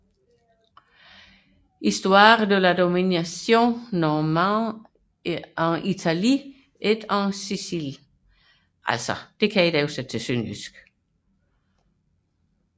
Histoire de la domination normande en Italie et en Sicile